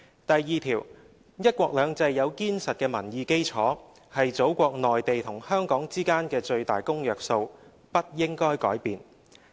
第二條，'一國兩制'有堅實的民意基礎，是祖國內地和香港之間的最大公約數，不應該改變。